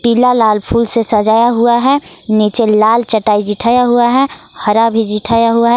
पीला लाल फूल से सजाया हुआ है नीचे लाल चटाई जीठाया हुआ है हरा भी जीठाया हुआ है।